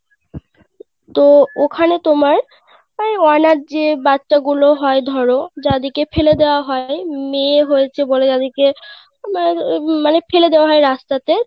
তো ওখানে তোমার ওই অনাথ যে বাচ্চা গুলো হয় ধরো যাদের কে ফেলে দেওয়া হয় মেয়ে হয়েছে বলে উম মানে ফেলে দেওয়া হয় রাস্তাতে